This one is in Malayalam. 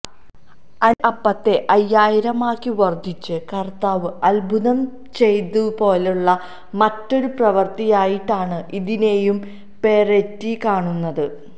അഞ്ച് അപ്പത്തെ അയ്യായിരമാക്കി വർധിച്ച് കർത്താവ് അത്ഭുതം ചെയ്തതുപോലുള്ള മറ്റൊരു പ്രവൃത്തിയായിട്ടാണ് ഇതിനെയും പെറേറ്റി കാണുന്നത്